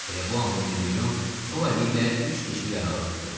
Elə bu anda mirmilyon sol əli ilə üç dişli yarağı tutdu.